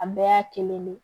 A bɛɛ y'a kelen de ye